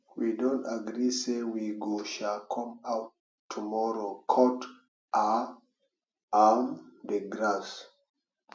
we don agree say we go um come out tomorrow cut um um the grass